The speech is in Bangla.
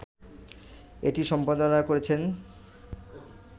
এটি সম্পাদনা করেছেন